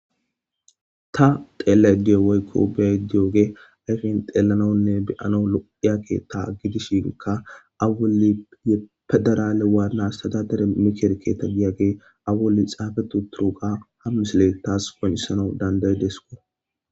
ta xeella diyo woykko beediyooge ayfin xeellanonne beyano lo7hiyake ta gidishinka awuy pedarale waanas tadadere mikerketa giyagge awuli xaafetu turuga hamisile taas gonisanau danday deskona